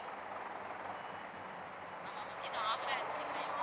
ஆமா ma'am எதும் offer எதும் இல்லையா ma'am.